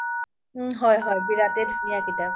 হয় হয় বিৰাতে ধুনিয়া কিতাপ